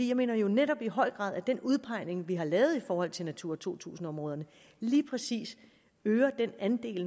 jeg mener jo netop i høj grad at den udpegning vi har lavet i forhold til natura to tusind områderne lige præcis øger den andel